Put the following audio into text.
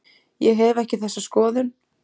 Ég hef ekki þessa skoðun.